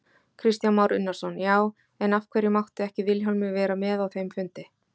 Kristján Már Unnarsson: Já, en af hverju mátti ekki Vilhjálmur vera með á þeim fundi?